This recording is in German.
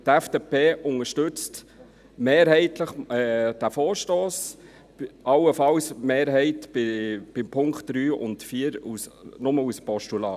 Die FDP unterstützt diesen Vorstoss mehrheitlich, die Mehrheit allenfalls bei den Punkten 3 und 4 nur als Postulat.